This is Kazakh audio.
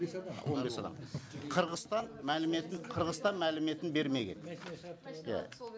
он бес адам қырғызстан мәліметін қырғызстан мәліметін бермеген иә